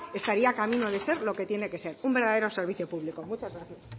estaría camino de ser lo que tiene que ser un verdadero servicio público muchas gracias